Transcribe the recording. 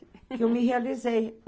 Que eu me realizei.